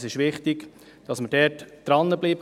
Es ist wichtig, dass wir da dranbleiben.